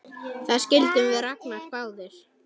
Það skildum við Ragnar báðir!